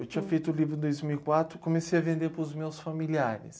Eu tinha feito o livro em dois mil e quatro e comecei a vender para os meus familiares.